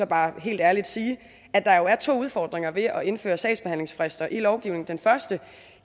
bare helt ærligt sige at der jo er to udfordringer ved at indføre sagsbehandlingsfrister i lovgivningen den første